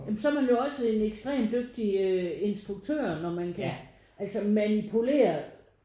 Ja men så er man jo også en ekstrem dygtig øh instruktør når man kan altså manipulere